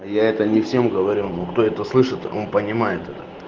я это не всем говорю но кто это слышит он понимает это